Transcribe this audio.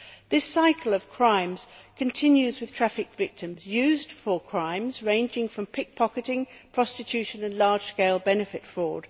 This cycle of crime continues, with trafficked victims being used for crimes ranging from pick pocketing to prostitution and large scale benefit fraud.